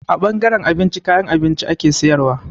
A ɓangaren abinci, kayan abinci ake sayarwa.